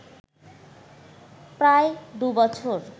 প্রায় দুবছর